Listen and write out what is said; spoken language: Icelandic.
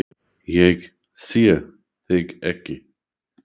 Ég sé þig ekki.